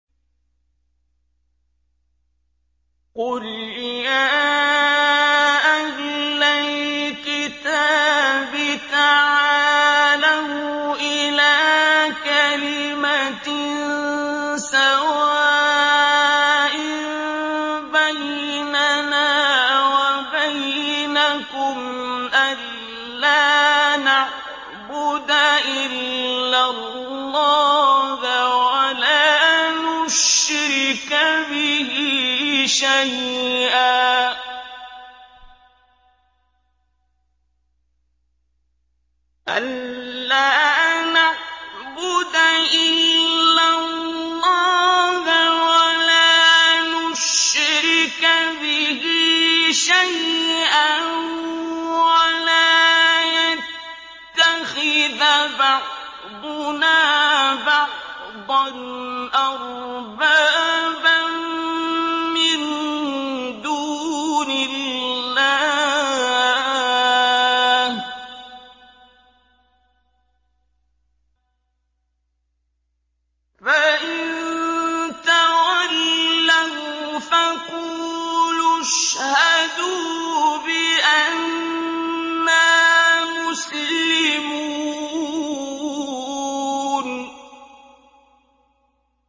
قُلْ يَا أَهْلَ الْكِتَابِ تَعَالَوْا إِلَىٰ كَلِمَةٍ سَوَاءٍ بَيْنَنَا وَبَيْنَكُمْ أَلَّا نَعْبُدَ إِلَّا اللَّهَ وَلَا نُشْرِكَ بِهِ شَيْئًا وَلَا يَتَّخِذَ بَعْضُنَا بَعْضًا أَرْبَابًا مِّن دُونِ اللَّهِ ۚ فَإِن تَوَلَّوْا فَقُولُوا اشْهَدُوا بِأَنَّا مُسْلِمُونَ